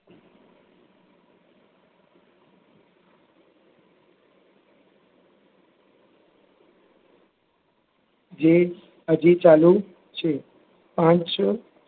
જે હજી ચાલુ છે. પાંચ